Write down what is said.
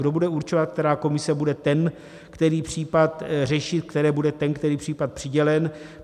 Kdo bude určovat, která komise bude ten který případ řešit, které bude ten který případ přidělen?